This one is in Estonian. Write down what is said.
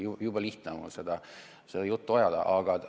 Jube lihtne on mul seda juttu ajada.